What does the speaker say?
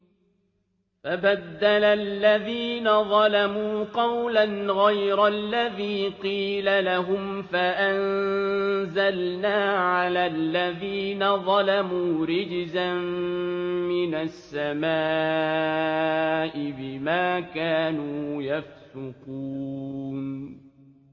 فَبَدَّلَ الَّذِينَ ظَلَمُوا قَوْلًا غَيْرَ الَّذِي قِيلَ لَهُمْ فَأَنزَلْنَا عَلَى الَّذِينَ ظَلَمُوا رِجْزًا مِّنَ السَّمَاءِ بِمَا كَانُوا يَفْسُقُونَ